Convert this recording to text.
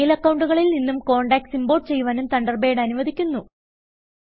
mail അക്കൌണ്ടുകളിൽ നിന്നും contacts import ചെയ്യുവാനും തണ്ടർബേഡ് അനുവദിക്കുന്നു